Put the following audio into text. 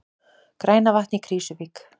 Grænavatn í Krýsuvík.